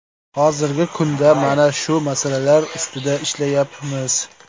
Hozirgi kunda mana shu masalalar ustida ishlayapmiz.